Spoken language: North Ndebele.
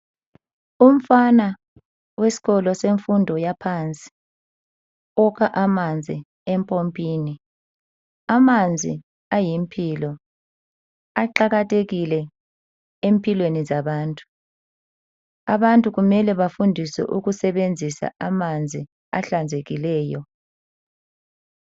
umfana wesikolo semfundo yaphansi ukha amanzi empompini amanzi ayimpilo aqakathekile empilweni zabantu abantu kumele bafundiswe ukusebenzisa amanzi ahlanzekileyo